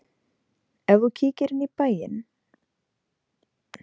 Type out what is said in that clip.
Ef þú kíkir inn í bæinn alt verður gott á boðstólum.